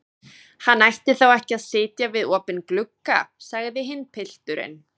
Hann ætti þá ekki að sitja við opinn glugga, sagði hinn pilturinn.